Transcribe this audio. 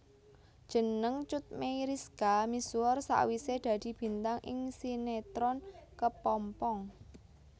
Jeneng Cut Meyriska misuwur sawisé dadi bintang ing sinetron Kepompong